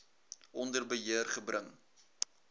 onder beheer gebring